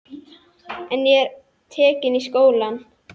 En ég var tekin í skólann.